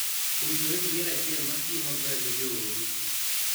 Owinjore iyier achiel ma tiyo maber ne joodu.